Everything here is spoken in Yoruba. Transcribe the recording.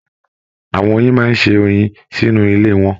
Àwọn oyin máa n se oyin sínú ilé wọn.